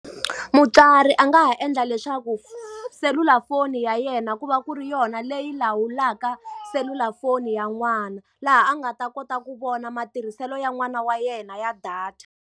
Mutswari a nga ha endla leswaku selulafoni ya yena ku va ku ri yona leyi lawulaka selulafoni ya n'wana, laha a nga ta kota ku vona matirhiselo ya n'wana wa yena ya data.